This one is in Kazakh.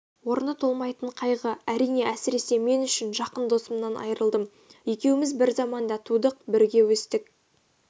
орны толмайтын қайғы әрине әсіресе мен үшін жақын досымнан айырылдым екеуіміз бір заманда тудық бірге өстік